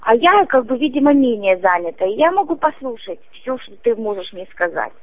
а я как бы видимо менее занята я могу послушать все что ты можешь мне сказать